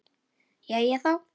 Jæja, þá.